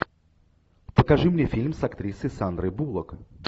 покажи мне фильм с актрисой сандрой буллок